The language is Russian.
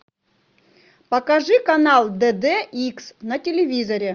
покажи канал дд икс на телевизоре